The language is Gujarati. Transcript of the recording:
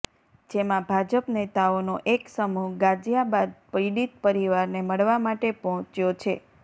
જેમાં ભાજપ નેતાઓનો એક સમૂહ ગાઝિયાબાદમાં પીડિત પરિવારને મળવા માટે પહોંચ્યો છે